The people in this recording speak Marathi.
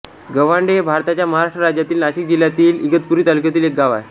गव्हांडे हे भारताच्या महाराष्ट्र राज्यातील नाशिक जिल्ह्यातील इगतपुरी तालुक्यातील एक गाव आहे